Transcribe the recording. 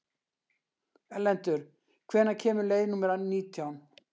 Erlendur, hvenær kemur leið númer nítján?